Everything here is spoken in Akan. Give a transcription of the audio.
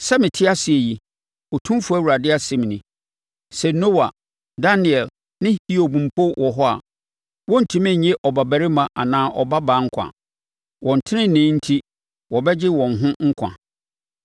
sɛ mete ase yi, Otumfoɔ Awurade asɛm nie, sɛ Noa, Daniel ne Hiob mpo wɔ hɔ a, wɔrentumi nye ɔbabarima anaa ɔbabaa nkwa. Wɔn tenenee enti wɔbɛgye wɔn ho nkwa.